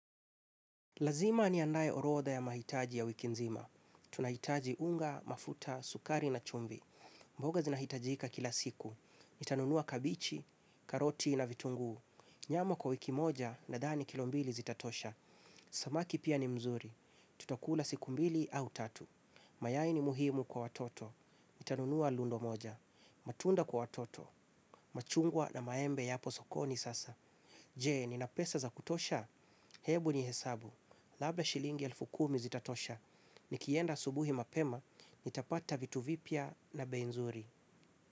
Lazima niandae orodha ya mahitaji ya wiki nzima. Tunahitaji unga, mafuta, sukari na chumbi. Mboga zinahitajika kila siku. Nitanunua kabichi, karoti na vitunguu. Nyama kwa wiki moja nadhani kilombili zitatosha. Samaki pia ni mzuri. Tutakula siku mbili au tatu. Mayai ni muhimu kwa watoto. Nitanunua lundo moja. Matunda kwa watoto. Machungwa na maembe yapo sokoni sasa. Je, nina pesa za kutosha? Hebu ni hesabu. Labda shilingi elfu kumi zitatosha. Nikienda subuhi mapema nitapata vitu vipya na bei nzuri.